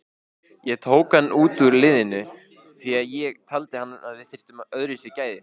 Ég tók hann út úr liðinu því að ég taldi að við þyrftum öðruvísi gæði.